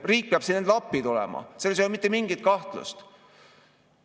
Riik peab siin neile appi tulema, selles ei ole mitte mingit kahtlust.